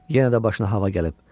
Yenə də başına hava gəlib.